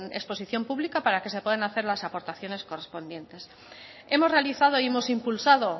en exposición pública para que se puedan hacer las aportaciones correspondientes hemos realizado y hemos impulsado